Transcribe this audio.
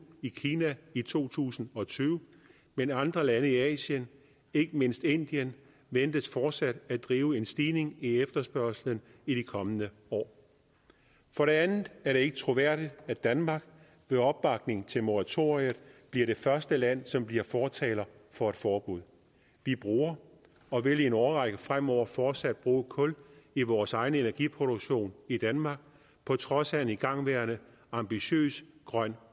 i kina i to tusind og tyve men andre lande i asien ikke mindst indien ventes fortsat at drive en stigning i efterspørgslen i de kommende år for det andet er det ikke troværdigt at danmark med opbakning til moratoriet bliver det første land som bliver fortaler for et forbud vi bruger og vil i en årrække fremover fortsat bruge kul i vores egen energiproduktion i danmark på trods af en igangværende ambitiøs grøn